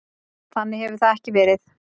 Þannig hefur það ekki verið.